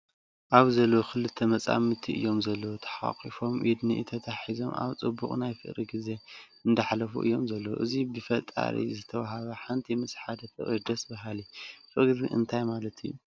ኣብዚ ዘለው ክልተ መፃምድቲ እዮም ዘለው ተሓቋቂፎም ኢድ ንኢድ ተታሓሒዞም ኣብ ፅቡቅ ናይ ፍቅሪ ግዜ እንዳኣሕለፉ እዮም ዘለው። እዚ ብፈጣሪ ዝተወሃበ ሓንቲ ምስ ሓደ ፍቅሪ ደስ በሃሊ። ፍቅሪ ግን እንታይ ማለት እዩ ?